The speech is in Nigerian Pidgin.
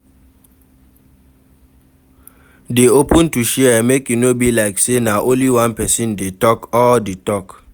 Dey open to share make e no be like sey na only one person dey talk all di talk